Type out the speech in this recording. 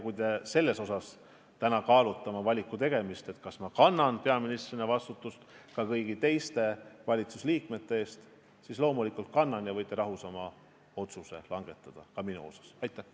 Kui te täna kaalute oma valiku tegemist sellest vaatevinklist, kas ma kannan peaministrina vastutust ka kõigi teiste valitsusliikmete eest, siis loomulikult kannan ja te võite rahus oma otsuse minu kohta langetada.